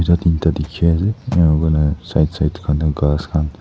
Tu tin ta dekhe ase ena kurena side side tey khan tu khass khan.